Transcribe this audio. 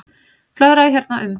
Flögraði hérna um.